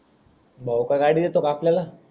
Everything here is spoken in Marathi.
भाऊ का गाडी देतो का आपल्याला.